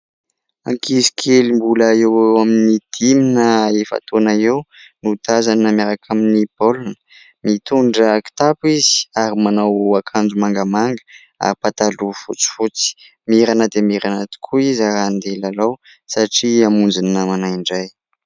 Ankizy kely mbola eo eo amin'ny dimy na efa-taona eo no tazana miaraka amin'ny baolina. Mitondra kitapo izy ary manao akanjo mangamanga ary pataloha fotsifotsy. Mirana dia mirana tokoa izy handeha hilalao satria hamonjy ny namana indray.